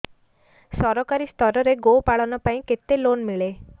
ସରକାରୀ ସ୍ତରରେ ଗୋ ପାଳନ ପାଇଁ କେତେ ଲୋନ୍ ମିଳେ